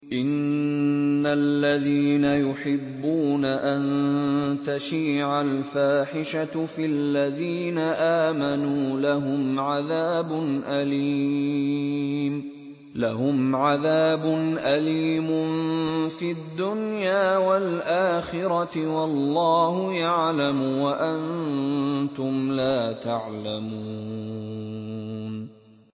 إِنَّ الَّذِينَ يُحِبُّونَ أَن تَشِيعَ الْفَاحِشَةُ فِي الَّذِينَ آمَنُوا لَهُمْ عَذَابٌ أَلِيمٌ فِي الدُّنْيَا وَالْآخِرَةِ ۚ وَاللَّهُ يَعْلَمُ وَأَنتُمْ لَا تَعْلَمُونَ